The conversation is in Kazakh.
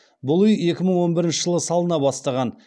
бұл үи екі мың он бірінші жылы салына бастаған